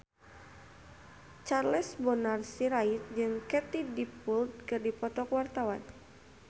Charles Bonar Sirait jeung Katie Dippold keur dipoto ku wartawan